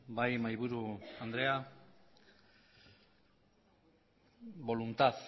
bai mahaiburu andrea voluntad